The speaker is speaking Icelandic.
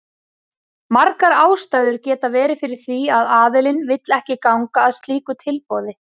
Margar ástæður geta verið fyrir því að aðilinn vill ekki ganga að slíku tilboði.